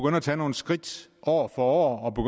at tage nogle skridt år for år